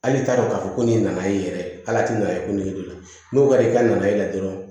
Hali t'a dɔn k'a fɔ ko nin nana e yɛrɛ ala tɛ na ye ko nege don n'o kɛra i ka na e la dɔrɔn